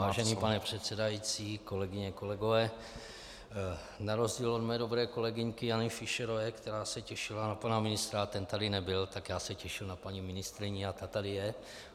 Vážený pane předsedající, kolegyně, kolegové, na rozdíl od mé dobré kolegyňky Jany Fischerové, která se těšila na pana ministra a ten tady nebyl, tak já se těším na paní ministryni a ta tady je.